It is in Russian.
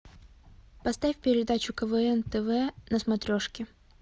поставь передачу квн тв на смотрешке